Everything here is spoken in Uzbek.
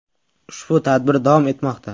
Ushbu tadbir davom etmoqda.